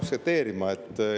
Seda peab aktsepteerima.